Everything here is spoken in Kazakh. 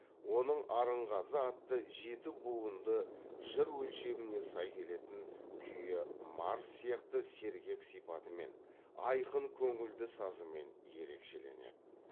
оның арынғазы атты жеті буынды жыр өлшеміне сай келетін күйі марш сияқты сергек сипатымен айқын көңілді сазымен ерекшеленеді